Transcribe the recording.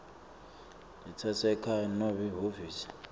letasekhaya nobe lihhovisi